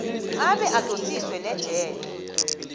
abe adosiswe nejele